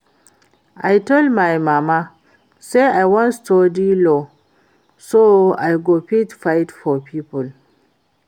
I tell my mama say I wan study law so I go fit fight for people